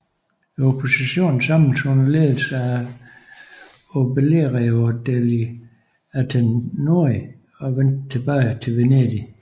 Oppositionen samledes under ledelse af Obelerio degli Antenori og vendte tilbage til Venedig